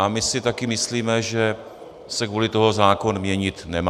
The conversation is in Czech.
A my si také myslíme, že se kvůli tomu zákon měnit nemá.